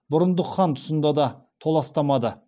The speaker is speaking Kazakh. бұрындық хан тұсында да толастамады